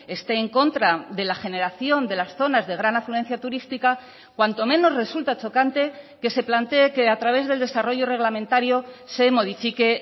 esté en contra de la generación de las zonas de gran afluencia turística cuanto menos resulta chocante que se plantee que a través del desarrollo reglamentario se modifique